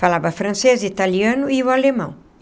Falava francês, italiano e o alemão.